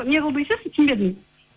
неғыл дейсіз түсінбедім